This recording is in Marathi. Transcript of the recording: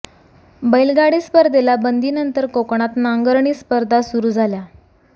बैलगाडी स्पर्धेला बंदी नंतर कोकणात नांगरणी स्पर्धा सुरू झाल्या